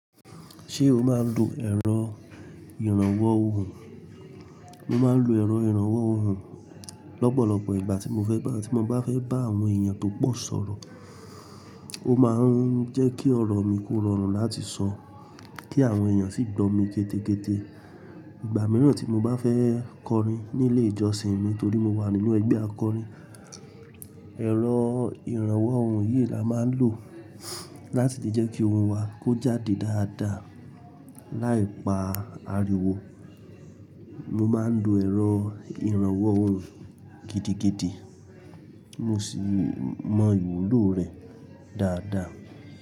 Ṣé o máa ń lo ẹ̀rọ ìrànwọ́ ohùn? Mo máa ń lo ẹ̀rọ ìrànwọ́ ohùn lọ́pọ̀lọ́pọ̀ ìgbà tí mo fẹ́ bá, tí mo bá fẹ́ bá àwọn èèyàn tó pọ̀ sọ̀rọ̀. Ó máa ń jẹ́ kí ọ̀rọ̀ mi kó rọrùn láti sọ kí àwọn èèyàn sì gbọ́ mi kété kété. Ìgbà mìíràn tí mo bá fẹ́ kọrin nílé ìjọsìn mi torí mo wà nínú ẹgbẹ́ akọrin, ẹ̀rọ ìrànwọ́ ohùn yìí la máa ń lò láti lè jẹ́ kí ohùn wa kó jáde dáadáa. Láì pa ariwo, mo máa ń lo ẹ̀rọ ìrànwọ́ ohùn gidi gidi mo sì mọ ìwúlò rẹ̀ dáadáa.